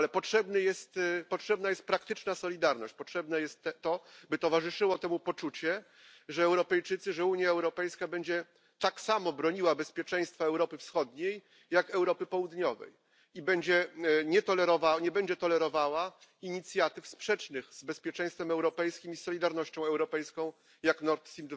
Ale potrzebna jest praktyczna solidarność, potrzebne jest to, by towarzyszyło temu poczucie, że Europejczycy, że Unia Europejska będzie tak samo broniła bezpieczeństwa Europy Wschodniej, jak Europy Południowej i nie będzie tolerowała inicjatyw sprzecznych z bezpieczeństwem europejskim i z solidarnością europejską, jak Nord Stream